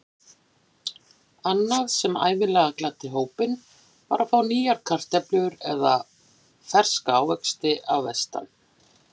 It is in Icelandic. Annað sem ævinlega gladdi hópinn var að fá nýjar kartöflur eða ferska ávexti að vestan.